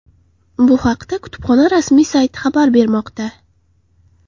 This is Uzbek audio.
Bu haqda kutubxona rasmiy sayti xabar bermoqda .